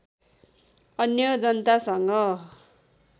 अन्य जनतासँग